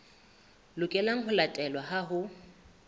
lokelang ho latelwa ha ho